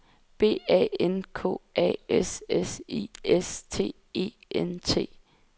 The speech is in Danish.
B A N K A S S I S T E N T